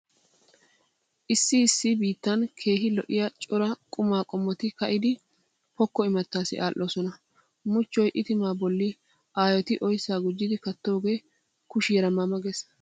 Issi issi biittan keehi lo'iya cora qumaa qommot ka'idi pokko imattaassi aadhdhoosona. Muchchoy itimaa bolli aayoti oyssa gujjidi kattoogee kushiyaara ma ma gees.